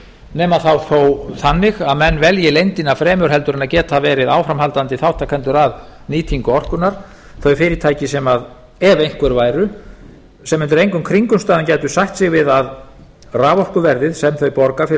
nema þá þó þannig að menn velji leyndina fremur en að geta verið áframhaldandi þátttakendur að nýtingu orkunnar þau fyrirtæki ef einhver væru sem undir engum kringumstæðum gætu sætt sig við að raforkuverðið sem þau borga fyrir